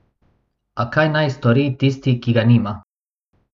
A kaj naj stori tisti, ki ga nima?